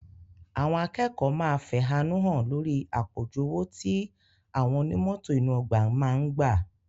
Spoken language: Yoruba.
Àwọn akẹ́kọ̀ọ́ máa fẹ̀hánúhàn lórí àpọ̀jù owó tí àwọn oní mọ́tò inú ọgbà máa ń gbà